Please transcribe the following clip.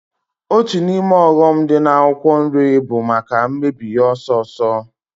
Otu n'ime ọghọm dị n'ahịa akwụkwọ nri bụ maka mmebi ya ọsọọsọ